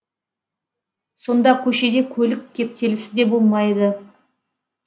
сонда көшеде көлік кептелісі де болмайды